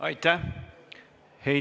Aitäh!